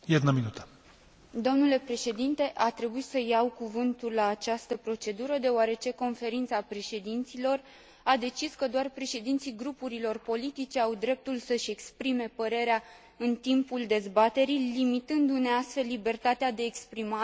A trebuit să iau cuvântul la această procedură, deoarece Conferința Președinților a decis că doar președinții grupurilor politice au dreptul să își exprime părerea în timpul dezbaterii, limitându ne, astfel, libertatea de exprimare nouă, deputaților fără funcții.